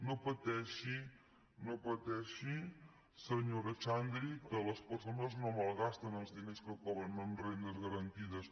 no pateixi senyora xandri que les persones no malgasten els diners que cobren amb rendes garantides